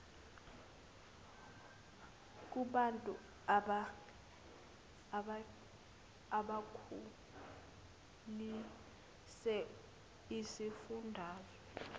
kubantu bakulesi sifundazwe